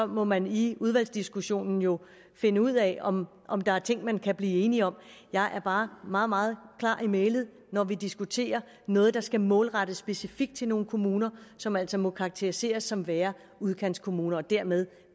må man i udvalgsdiskussionen jo finde ud af om om der er ting man kan blive enige om jeg er bare meget meget klar i mælet når vi diskuterer noget der skal målrettes specifikt til nogle kommuner som altså må karakteriseres som værende udkantskommuner og dermed